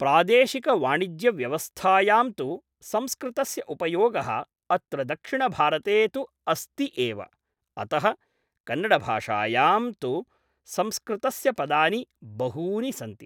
प्रादेशिकवाणिज्यव्यवस्थायां तु संस्कृतस्य उपयोगः अत्र दक्षिणभारते तु अस्ति एव, अतः कन्नडभाषायां तु संस्कृतस्य पदानि बहूनि सन्ति